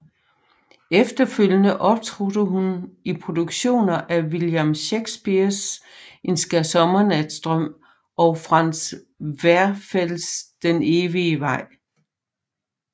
Efterfølgende optrådte hun i produktioner af William Shakespeares En skærsommernatsdrøm og Franz Werfels Den evige vej